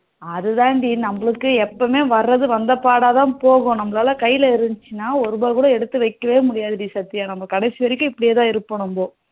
அதாண்டி நமக்கு எப்பவும் வரது வந்த பாடா தான் போகும் நம்மளால கையில இருந்துச்சுன்னா ஒரு ரூபா கூட எடுத்து வைக்கவே முடியாதுடி சத்யா நம்ம கடைசி வரைக்கும் இப்படியே தான் இருப்போம் நம்ம